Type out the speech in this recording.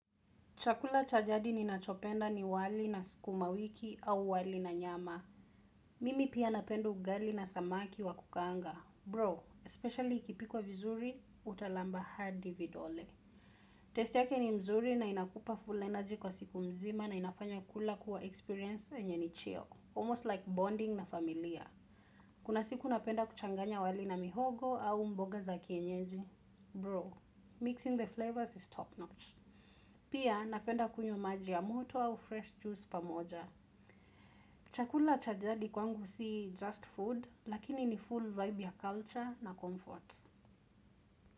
Chakula cha jadi ninachopenda ni wali na sukumawiki au wali na nyama. Mimi pia napenda ugali na samaki wa kukaanga. Bro, especially ikipikwa vizuri, utalamba hadi vidole. Test yake ni nzuri na inakupa full energy kwa siku nzima na inafanya kula kuwa experience enye ni chill. Almost like bonding na familia. Kuna siku napenda kuchanganya wali na mihogo au mboga za kienyeji. Bro, mixing the flavors is top notch. Pia napenda kunywa maji ya moto au fresh juice pamoja. Chakula cha jadi kwangu si just food, lakini ni full vibe ya culture na comfort.